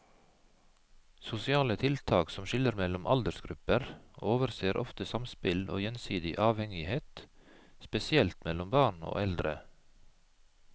Sosiale tiltak som skiller mellom aldersgrupper overser ofte samspill og gjensidig avhengighet, spesielt mellom barn og eldre.